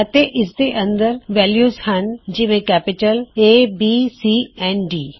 ਅਤੇ ਇਸਦੇ ਅੰਦਰ ਵੈਲਯੂਜ਼ ਹਣ ਜੀਵੇਂ ਕੈਪਿਟਲ abਸੀ ਅਤੇ D